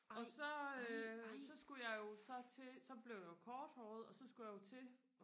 og så øh så skulle jeg jo så til så blev jeg jo korthåret og så skulle jeg jo så til